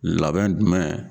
Labɛn dumɛn